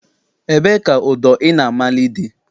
Ebee ka ụdọ ị na-amali dị?